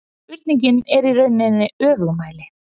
Spurningin er í rauninni öfugmæli